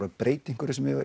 að breyta einhverju sem